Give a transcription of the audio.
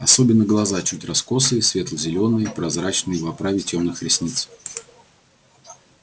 особенно глаза чуть раскосые светло-зелёные прозрачные в оправе тёмных ресниц